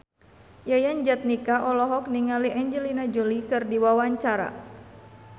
Yayan Jatnika olohok ningali Angelina Jolie keur diwawancara